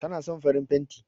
Tana son farin fenti